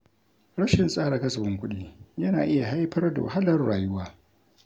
Rashin tsara kasafin kuɗi yana iya haifar da wahalar rayuwa.